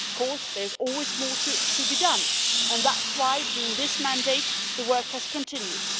Of course there's always more to be done, and that's why during this mandate the work has continued.